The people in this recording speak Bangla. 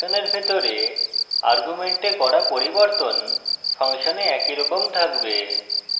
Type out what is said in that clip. ফাংশনের ভিতরে arguments করা পরিবর্তন ফাংশনে একইরকম থাকবে